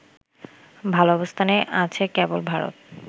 ভাল অবস্থানে আছে কেবল ভারত